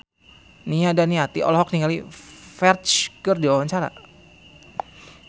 Nia Daniati olohok ningali Ferdge keur diwawancara